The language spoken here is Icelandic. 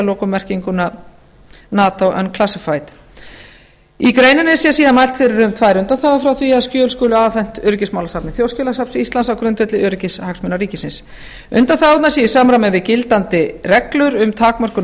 lokum merkinguna nato unclassified í greininni sé síðan mælt fyrir um tvær undanþágur frá því að skjöl skuli afhent öryggismálasafni þjóðskjalasafns íslands á grundvelli öryggishagsmuna ríkisins undanþágurnar séu í samræmi við gildandi reglur um takmörkun á